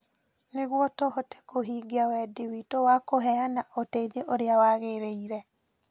nĩguo tũhote kũhingia wendi witũ wa kũheana ũteithio ũrĩa wagĩrĩire.